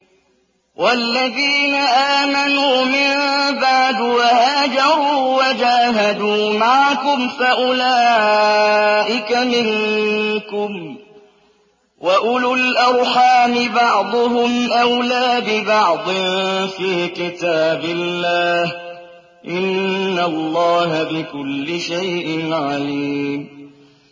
وَالَّذِينَ آمَنُوا مِن بَعْدُ وَهَاجَرُوا وَجَاهَدُوا مَعَكُمْ فَأُولَٰئِكَ مِنكُمْ ۚ وَأُولُو الْأَرْحَامِ بَعْضُهُمْ أَوْلَىٰ بِبَعْضٍ فِي كِتَابِ اللَّهِ ۗ إِنَّ اللَّهَ بِكُلِّ شَيْءٍ عَلِيمٌ